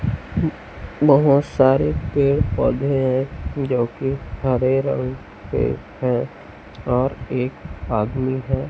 बहोत सारे पेड़-पौधे है जोकि हरे रंग के है और एक आदमी है।